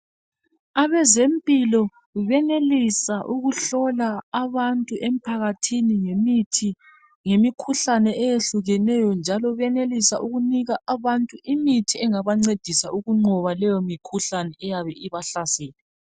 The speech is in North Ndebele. Abezempilo benelisa ukuhlola abantu emphakathini ngemithi . Ngemikhuhlane eyehlukeneyo njalo benelisa ukunika abantu imithi engabancedisa ukunqoba leyo mikhuhlane eyabe ibahlasela.